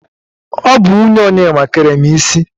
Ọ bụ nwunye Onyema kere m isi.